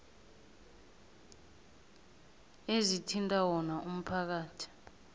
ezithinta wona umphakathi